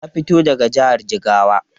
Ta fito daga jihar Jigawa.